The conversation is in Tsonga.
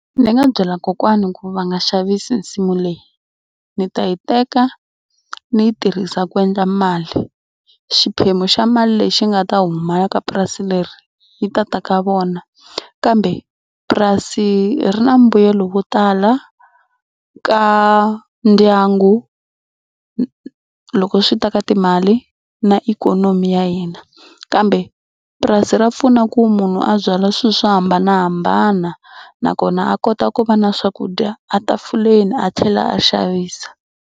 Ni nga byela kokwani ku va nga xavisi nsimu leyi. Ni ta yi teka ni yi tirhisa ku endla mali. Xiphemu xa mali lexi nga ta huma ka purasi leri yi ta ta ka vona kambe purasi ri na mbuyelo wo tala ka ndyangu loko swi ta ka timali na ikhonomi ya hina kambe purasi ra pfuna ku munhu a byala swilo swo hambanahambana nakona a kota ku va na swakudya a tafuleni a tlhela a xavisa.